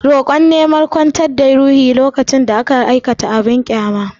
Roƙo na neman kwantar da ruhohi ko alloli lokacin da aka aikata abin ƙyama.